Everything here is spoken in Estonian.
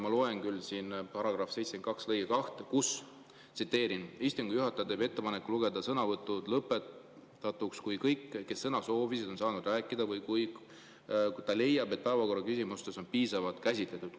Ma loen siin § 72 lõiget 2: "Istungi juhataja teeb ettepaneku lugeda sõnavõtud lõpetatuks, kui kõik, kes sõna soovisid, on saanud rääkida, või kui ta leiab, et päevakorraküsimust on piisavalt käsitletud.